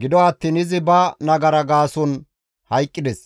gido attiin izi ba nagara gaason hayqqides.